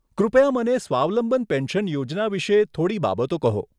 કૃપયા મને સ્વાવલંબન પેન્શન યોજના વિષે થોડી બાબતો કહો.